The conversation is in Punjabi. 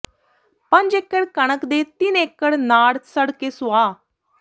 ਪੰਜ ਏਕੜ ਕਣਕ ਤੇ ਤਿੰਨ ਏਕੜ ਨਾੜ ਸੜ ਕੇ ਸੁਆਹ